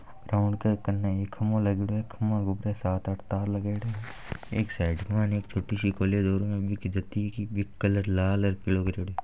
ग्राउंड के कन्ने एक ख्म्मो लागेडो है खभो सात आठ तार लगेड़े है। एक साइड एक छोटी सी कॉलेज और बीके कलर लाल और पिलो करेडो है।